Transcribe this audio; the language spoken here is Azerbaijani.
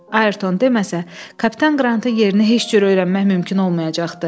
Ayerton deməsə, kapitan Qrantı yerini heç cür öyrənmək mümkün olmayacaqdı.